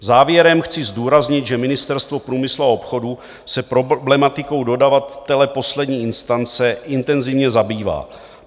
Závěrem chci zdůraznit, že Ministerstvo průmyslu a obchodu se problematikou dodavatele poslední instance intenzivně zabývá.